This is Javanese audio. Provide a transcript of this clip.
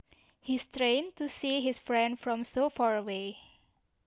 He strained to see his friend from so far away